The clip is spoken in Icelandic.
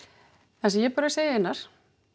það sem ég bara segi Einar